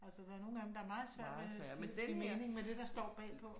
Altså der er nogen af dem, der er meget svært med at give mening, med det, der står bagpå